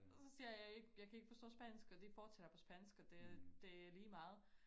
Og så siger jeg jeg kan ikke forstå spansk og de fortsætter på spansk og det det er ligemeget